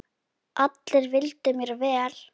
Allir vildu mér vel.